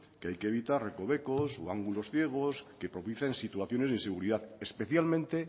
que hay que evitar recovecos o ángulos ciegos que propicien situaciones de inseguridad especialmente